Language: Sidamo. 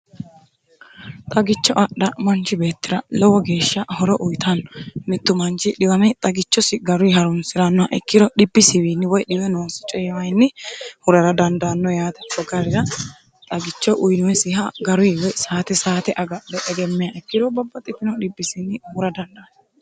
xagicho adha manchi beettira lowo geeshsha horo uyitanno mittu manchi xiwame xagichosi garuyi harunsi'rannoha ikkiro dhibiswinni woy dhiwenoonsi coyiwinni hurara dandaanno yaate garira xagicho uyinoyisiha garuni woy saate saate agadhe egemmiha ikkiro babbino dhibbisinni hura dandanno